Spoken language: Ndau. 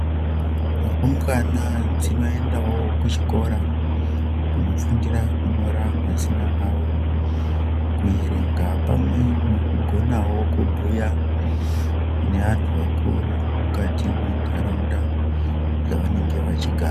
Rumbwana dzinoendawo kuchikora kunofundira kunonyora mazina awo kuerenga pamwe nekugonawo kubhuya neantu akuru mukati menharaunda dzawanenge vachigara.